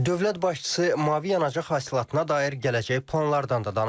Dövlət başçısı mavi yanacaq hasilatına dair gələcək planlardan da danışdı.